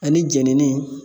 Ani jɛnini